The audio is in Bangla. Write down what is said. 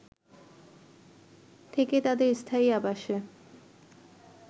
থেকে তাদের স্থায়ী আবাসে